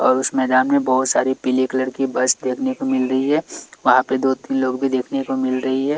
और उस मैदान में बहोत सारे पीले कलर की बस देखने को मिल रही है वहां पे दो तीन लोग भी देखने को मिल रही है।